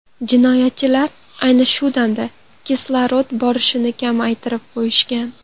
Jinoyatchilar ayni shu damda kislorod borishini kamaytirib qo‘yishgan.